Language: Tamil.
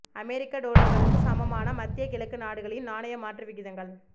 அமெரிக்க டொலர்களுக்கு சமமான மத்திய கிழக்கு நாடுகளின் நாணய மாற்று விகிதங்கள்